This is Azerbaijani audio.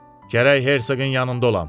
Gərək Hersoqun yanında olam.